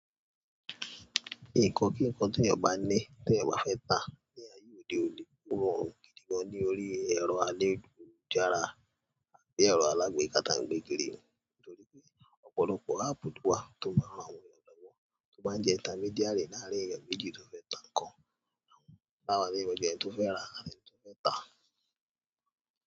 Nǹkan kí nǹkan tí ènìyàn bá ní, tí ènìyàn bá fẹ́ tà ní ayé òde òní, ó rọ̀ gidi gan-an ní orí ẹ̀rọ ayélujára àti ẹ̀rọ alágbèéká táà ń gbé kiri, nítorí pé ọ̀pọ̀lọpọ̀ áàpù wà tó máa ran àwọn ènìyàn lọ́wọ́, tó máa jẹ́ intermediary láàrín ẹni méjì tó fẹ́ tà nǹkan, àwọn bá wà nínú ẹni tó fẹ́ rà àti ẹni tó fẹ́ tà.